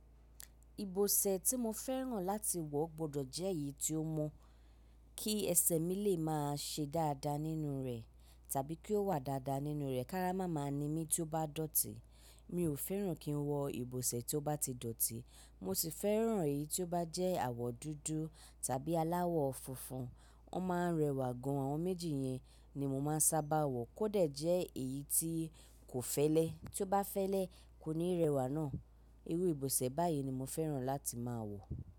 Ìbọ̀sẹ̀ tí mo fẹ́ràn láti wọ̀ gbọdọ̀ jẹ́ èyí tí ó mọ kí ẹsẹ̀ mi lè máa ṣe dáadáa nínú rẹ̀ tàbí kí ó wà dáadáa nínú rẹ̀, ki ará mà máa ni mí tí ó bá dọ̀tí. Mi ò fẹ́ràn kí n wọ ìbọ̀sẹ̀ tí ó bá ti dọ̀tí, mo sì fẹ́ràn èyí tí ó bá jẹ́ àwọ̀ dúdú tàbí aláwọ̀ funfun. Wọ́n máa ń rẹwà gan, àwọn méjì yẹn ni mo máa ń sábà wọ̀. Kó de jẹ́ èyí tí kò fẹ́lẹ́, tí ó bá fẹ́lẹ́ kò ní rẹwà náa. Irú ìbọ̀sẹ̀ báyìí ni mo fẹ́ràn láti máa wọ̀.